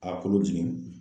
A kolo jigin.